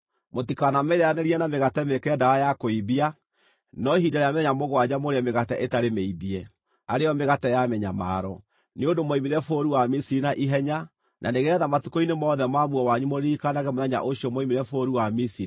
Mũtikanamĩrĩĩanĩrie na mĩgate mĩĩkĩre ndawa ya kũimbia, no ihinda rĩa mĩthenya mũgwanja mũrĩe mĩgate ĩtarĩ mĩimbie, arĩ yo mĩgate ya mĩnyamaro, nĩ ũndũ mwoimire bũrũri wa Misiri na ihenya, na nĩgeetha matukũ-inĩ mothe ma muoyo wanyu mũririkanage mũthenya ũcio mwoimire bũrũri wa Misiri.